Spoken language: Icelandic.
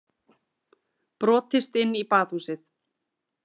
Brotist inn í Baðhúsið